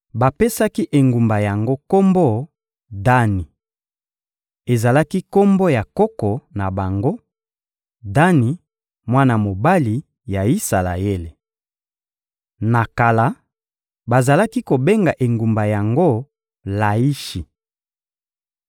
Bapesaki engumba yango kombo «Dani.» Ezalaki kombo ya koko na bango, Dani, mwana mobali ya Isalaele. Na kala, bazalaki kobenga engumba yango Laishi.